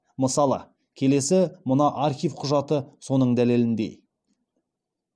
мысалы келесі мына архив құжаты соның дәлеліндей